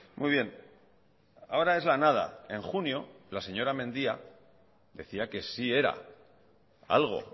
muy bien ahora es la nada en junio la señora mendia decía que sí era algo